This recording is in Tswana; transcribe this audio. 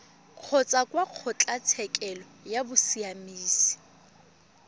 kgotsa kwa kgotlatshekelo ya bosiamisi